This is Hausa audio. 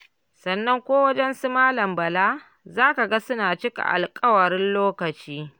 Sannan ko wajen su Malam Bala, za ka ga suna cika alƙawarin lokaci.